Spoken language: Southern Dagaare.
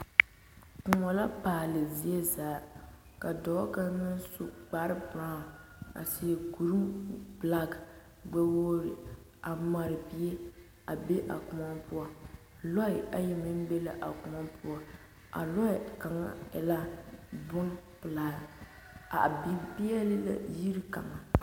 Kõɔ la paale zie zaa ka dɔɔ kaŋa naŋ su kpare berao a seɛ kuri belaki gbɛ-wogiri a mare bie a be a kõɔ poɔ, lɔɛ ayi meŋ be la a kõɔ poɔ a lɔɛ kaŋa e la bompelaa a biŋ peɛle la yiri kaŋa.